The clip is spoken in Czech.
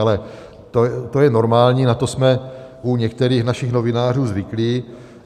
Ale to je normální, na to jsme u některých našich novinářů zvyklí.